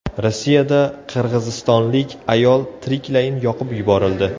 Rossiyada qirg‘izistonlik ayol tiriklayin yoqib yuborildi.